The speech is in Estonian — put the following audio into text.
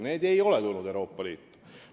Nad ei ole Euroopa Liitu tulnud.